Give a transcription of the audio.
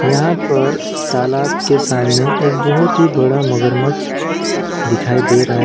यहां पर तालाब के सामने एक बहुत ही बड़ा मगरमच्छ दिखाई दे रहा है।